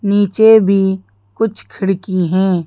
नीचे भी कुछ खिड़की हैं।